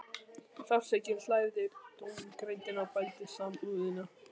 Sársaukinn slævði dómgreindina og bældi samúðina.